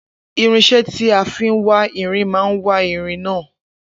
Irinsé tí a fi wá irin má wá irin náà